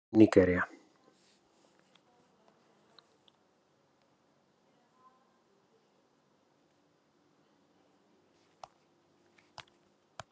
Nígería